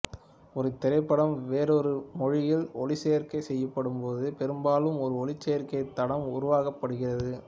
ஒரு திரைப்படம் வேறொரு மொழியில் ஒலிச்சேர்க்கை செய்யப்படும்போது பெரும்பாலும் ஒரு ஒலிச்சேர்க்கை தடம் உருவாக்கப்படுகிறது